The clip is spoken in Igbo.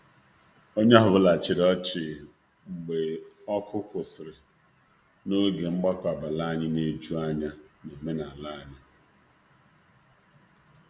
Onye ọ bụla chịrị ọchị mgbe oku kwụsịrị n'oge mgbakọ abalị anyị na-eju anya na omenala anyị.